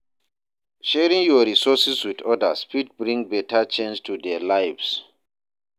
Sharing yur resources with odas fit bring beta change to their lives.